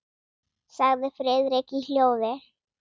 sagði Friðrik í hljóði.